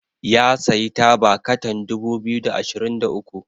ya sayi taba katan dubu biyu da ashirin da uku